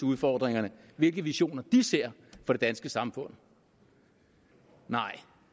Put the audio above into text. udfordringer og hvilke visioner de ser for det danske samfund nej